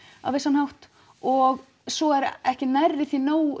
á vissan hátt og svo er ekki nærri því nógu